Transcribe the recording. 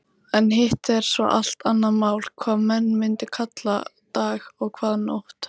En hitt er svo allt annað mál hvað menn mundu kalla dag og hvað nótt.